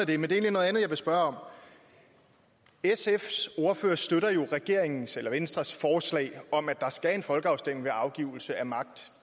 det men det er noget andet jeg vil spørge om sfs ordfører støtter jo regeringens eller venstres forslag om at der skal være en folkeafstemning ved afgivelse af magt